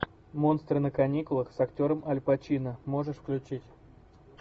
монстры на каникулах с актером аль пачино можешь включить